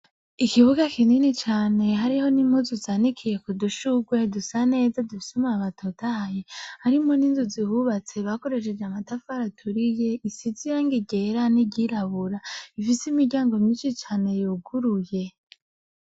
Ikibuga kinini cane hariho n'impuzu zanikiye ku dushugwe dusa neza dufise amababi atotahaye, harimwo n'inzu zihubatse bakoresheje amatafari aturiye, isize irangi ryera n'iryirabura, ifise imiryango myinshi cane yuguruye.